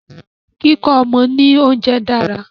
Kíkọ́ ọmọ ni oúnjẹ dára.